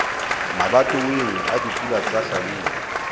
mabatoweng a dipula tsa hlabula